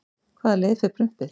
Hvaða leið fer prumpið?